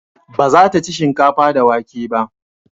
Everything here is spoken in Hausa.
Ba za ta ci shinkafa da wake ba